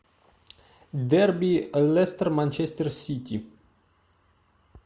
дерби лестер манчестер сити